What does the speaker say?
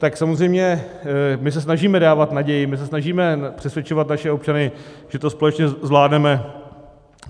Tak samozřejmě my se snažíme dávat naději, my se snažíme přesvědčovat naše občany, že to společně zvládneme.